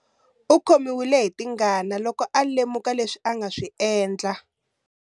U khomiwe hi tingana loko a lemuka leswi a nga swi endla.